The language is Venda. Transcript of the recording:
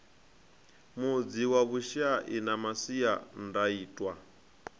mudzi wa vhushai na masiandaitwa